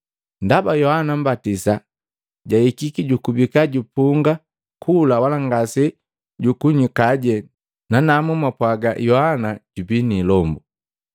Ndaba Yohana Mmbatisa jahikiki, jukubika jupunga kula wala ngase jukunywikaje, nanamu mwapwaga, ‘Yohana jubi ni ilombu!’